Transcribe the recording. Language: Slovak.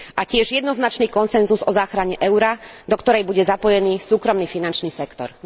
A tiež jednoznačný konsenzus o záchrane eura, do ktorej bude zapojený súkromný finančný sektor.